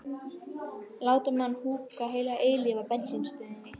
láta mann húka heila eilífð á bensínstöðinni.